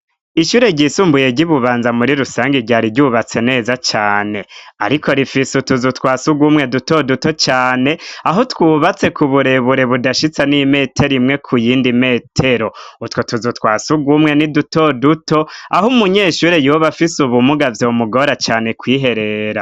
Ishure ryisumbuye ry'i bubanza muri rusange ryari ryubatse neza cane, ariko rifise utuzu twase ugwa umwe duto duto cane aho twubatse ku burebure budashitsa n'imetero imwe ku yindi metero utwo tuzu twa s ugwa umwe n'i duto duto aho umunyeshure yuba afise ubumugavye wu mugora cane kwiherera.